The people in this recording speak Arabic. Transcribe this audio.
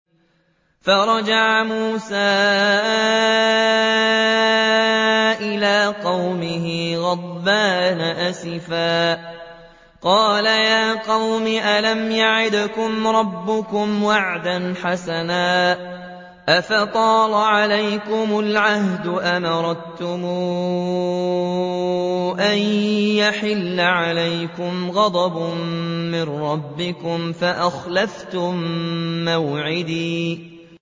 فَرَجَعَ مُوسَىٰ إِلَىٰ قَوْمِهِ غَضْبَانَ أَسِفًا ۚ قَالَ يَا قَوْمِ أَلَمْ يَعِدْكُمْ رَبُّكُمْ وَعْدًا حَسَنًا ۚ أَفَطَالَ عَلَيْكُمُ الْعَهْدُ أَمْ أَرَدتُّمْ أَن يَحِلَّ عَلَيْكُمْ غَضَبٌ مِّن رَّبِّكُمْ فَأَخْلَفْتُم مَّوْعِدِي